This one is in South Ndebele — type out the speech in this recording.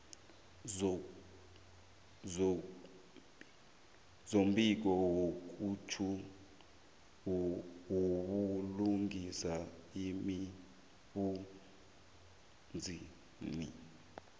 sombiko wobulungiswa emsebenzini